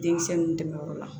Denmisɛnnu dɛmɛyɔrɔ la